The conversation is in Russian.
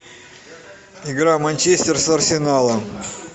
игра манчестер с арсеналом